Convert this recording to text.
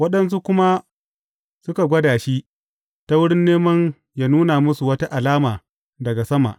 Waɗansu kuma suka gwada shi, ta wurin neman yă nuna musu wata alama daga sama.